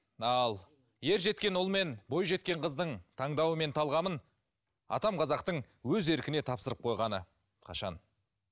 ал ер жеткен ұл мен бойжеткен қыздың таңдауы мен талғамын атам қазақтың өз еркіне тапсырып қойғаны қашан